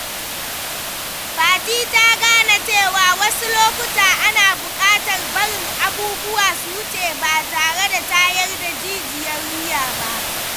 Fati ta gane cewa wasu lokuta ana bukatar barin abubuwa su wuce ba tare da tayar da jijiyar wuya ba.